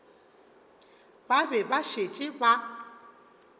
ba be ba šetše ba